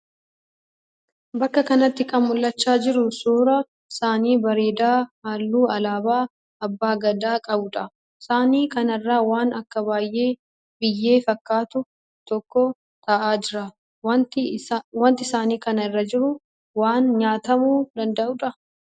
Bakka kanatti kan mul'achaa jiru suuraa saanii bareedaa halluu alaabaa Abbaa Gadaa qabuudha. Saanii kanarra waan akka biyyee fakkaatu tokko ta'aa jira. Waanti saanii kana irra jiru waan nyaatamuu danda'uudhaa?